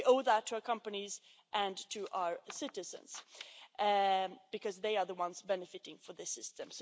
We owe that to our companies and to our citizens, because they are the ones benefiting from this system.